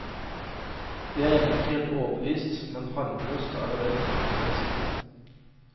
Vi er ennå ikke helt overbevist, men harmløst er det vel, for det meste.